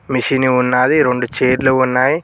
Machine ఉన్నది రెండు చైర్లు ఉన్నాయి.